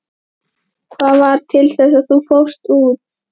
Hvað varð til þess að þú fórst út?